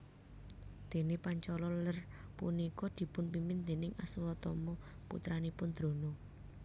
Dene Pancala Ler punika dipun pimpin déning Aswatama putranipun Drona